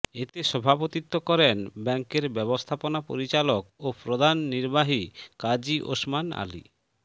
এতে সভাপতিত্ব করেন ব্যাংকের ব্যবস্থাপনা পরিচালক ও প্রধান নির্বাহী কাজী ওসমান আলী